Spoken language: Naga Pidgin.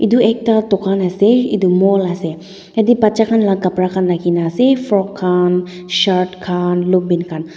edu ekta dukan ase edu mall ase yatae bacha khan la kapra khan rakhina ase frock khan shirt khan lompan khan.